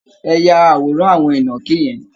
Ẹ ya àwòrán àwọn ìnàkí yẹn!